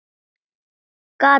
Gat verið!